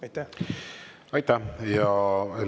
Aitäh!